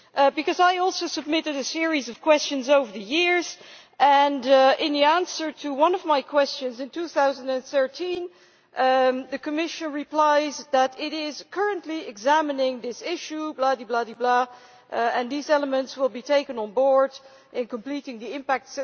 Because I have also submitted a series of questions over the years, and in the answer to one of my questions in 2013 the Commission replied that it ʽis currently examining this issueʼ blah di blah di blah ʽand these elements will be taken on board in completing the impact...ʼ.